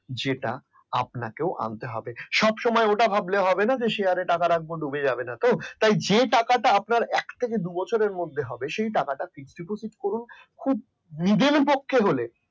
যেটা আপনাকেও আনতে হবে সব সময় ওটা ভাবলে হবেনা যে share টাকা রাখবো ডুবে যাবে না তো যে টাকাটা আপনার এক থেকে দু বছরের মধ্যে হবে সেই টাকাটা fix deposit করুন নিজের পক্ষে হলে